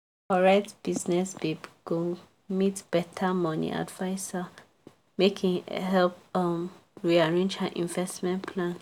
correct business babe go meet better money adviser make e help um rearrange her investment plan.